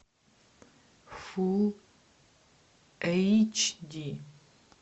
фулл эйч ди